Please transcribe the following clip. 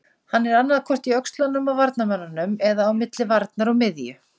Hann er annaðhvort í öxlunum á varnarmönnunum eða á milli varnar og miðju.